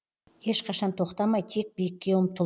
ешқашан тоқтамай тек биікке ұмтыл